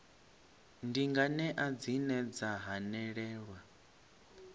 ndi nganea dzine dza hanelelwa